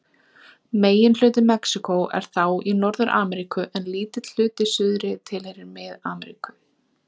Megin hluti Mexíkó er þá í Norður-Ameríku en lítill hluti í suðri tilheyrir Mið-Ameríku.